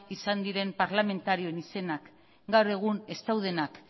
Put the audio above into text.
izan diren parlamentarien izenak gaur egun ez daudenak